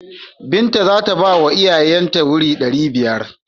Binta za ta bawa iyaye ta wuri ɗari biyar.